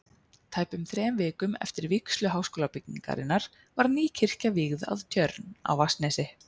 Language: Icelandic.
Tæpum þrem vikum eftir vígslu Háskólabyggingarinnar var ný kirkja vígð að Tjörn á Vatnsnesi.